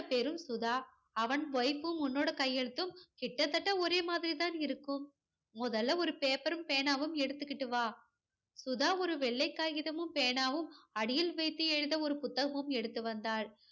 பேரும் சுதா. அவன் wife வும் உன்னோட கையெழுத்தும் கிட்டத்தட்ட ஒரே மாதிரி தான் இருக்கும். முதல்ல ஒரு paper ரும் பேனாவும் எடுத்துக்கிட்டு வா. சுதா ஒரு வெள்ளைக் காகிதமும் பேனாவும் அடியில் வைத்து எழுத ஒரு புத்தகமும் எடுத்து வந்தாள்.